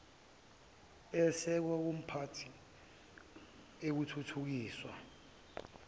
eyesekwe kumiphakathi ethuthukiswa